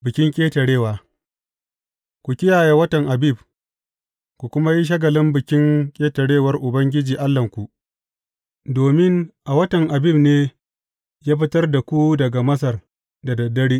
Bikin Ƙetarewa Ku kiyaye watan Abib, ku kuma yi shagalin Bikin Ƙetarewar Ubangiji Allahnku, domin a watan Abib ne ya fitar da ku daga Masar da dad dare.